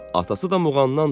Atası da Muğamdanndır.